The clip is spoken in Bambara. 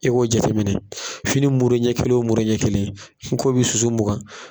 E b'o jateminɛ fini mure ɲɛ kelen muru ɲɛ kelen ko bi susu mugan.